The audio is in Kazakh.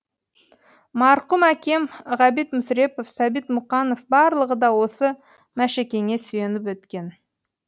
марқұм әкем ғабит мүсірепов сәбит мұқанов барлығы да осы мәшекеңе сүйеніп өткен